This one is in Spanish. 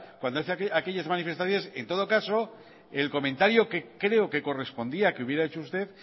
cuando hace aquellas manifestaciones en todo caso el comentario que creo que correspondía que hubiera hecho usted